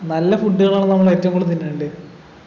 നല്ല food കളാണ് നമ്മൾ ഏറ്റവും കൂടുതൽ തിന്നേണ്ടെ